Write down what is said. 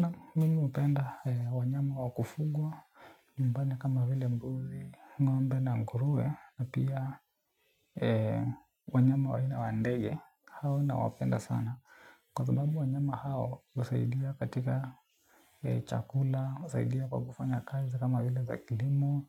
Naam mimi hupenda wanyama wakufugwa nyumbani kama vile mbuzi ngombe na nguruwe na pia wanyama aina wa ndege hao na wapenda sana. Kwa sababu wanyama hao husaidia katika chakula, husaidia kwa kufanya kazi kama vile za kilimo.